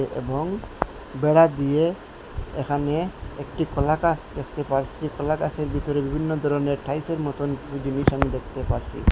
এ-এবং বেড়া দিয়ে এখানে একটি কলা গাছ দেখতে পারছি কলা গাছের ভিতরে বিভিন্ন ধরনের টাইল সের মতোন কিছু জিনিস আমি দেখতে পারছি।